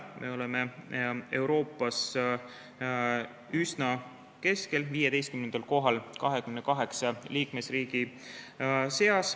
Me oleme Euroopas üsna keskel, 15. kohal 28 liikmesriigi seas.